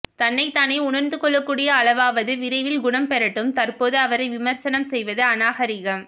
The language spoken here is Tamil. தன்னை தானே உணர்ந்து கொள்ளக்கூடிய அளவாவது விரைவில் குணம் பெறட்டும் தற்போது அவரை விமர்சனம் செய்வது அநாகரிகம்